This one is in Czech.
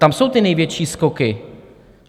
Tam jsou ty největší skoky.